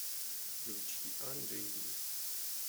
включи анжели